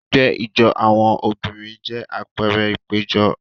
Ẹgbẹ́ ijó àwọn obìnrin jẹ́ àpẹẹrẹ ìpéjọ.